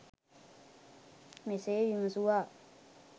මෙසේ විමසුවා.